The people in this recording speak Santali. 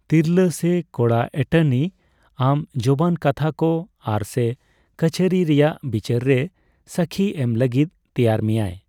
ᱛᱤᱨᱞᱟᱹ ᱥᱮ ᱠᱚᱲᱟ ᱮᱴᱚᱨᱱᱤ ᱟᱢ ᱡᱚᱵᱟᱱ ᱠᱟᱛᱷᱟ ᱠᱚ ᱟᱨ/ ᱥᱮ ᱠᱟᱹᱪᱷᱟᱹᱨᱤ ᱨᱮᱭᱟᱜ ᱵᱤᱪᱟᱹᱨ ᱨᱮ ᱥᱟᱹᱠᱷᱤ ᱮᱢ ᱞᱟᱹᱜᱤᱫ ᱛᱮᱭᱟᱨ ᱢᱮᱭᱟᱭ ᱾